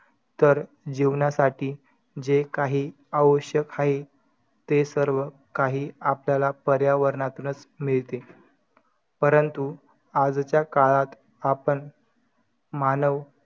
तेव्हा पण खूप काही किस्से ऐकायला मिळतात आपल्याला.कुणी